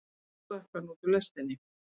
Og svo stökk hann út úr lestinni.